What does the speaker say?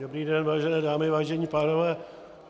Dobrý den, vážené dámy, vážení pánové.